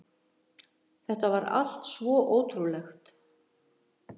Þetta var allt svo ótrúlegt.